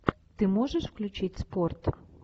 ты можешь включить спорт